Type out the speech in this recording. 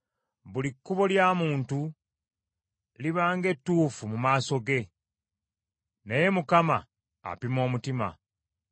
Buli kkubo lya muntu liba ng’ettuufu mu maaso ge, naye Mukama apima omutima.